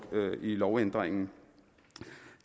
lovændringen